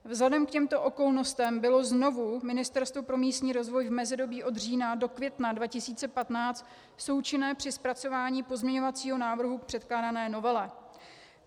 Vzhledem k těmto okolnostem bylo znovu Ministerstvo pro místní rozvoj v mezidobí od října do května 2015 součinné při zpracování pozměňovacího návrhu k předkládané novele.